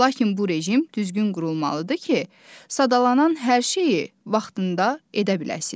Lakin bu rejim düzgün qurulmalıdır ki, sadalanan hər şeyi vaxtında edə biləsiniz.